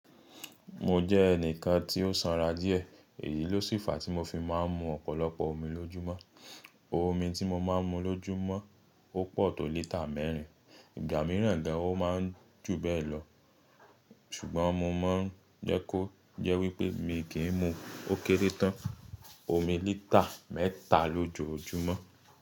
Mo jẹ́ ẹnìkan tí ó sanra díẹ̀, èyí ló sì fa tí mo fi máa ń mu ọ̀pọ̀lọpọ̀ omi lójúmọ́. Omi tí mo máa ń mu lójúmọ́ ó pọ̀ tó lítà mẹ́rin, ìgbà mìíràn gan ó máa ń jù bẹ́ẹ̀ lọ. Ṣùgbọ́n mo máa ń jẹ́ kó jẹ́ wípé mi kì í mu ókéré tán, omi lítà mẹ́ta lójoojúmọ́.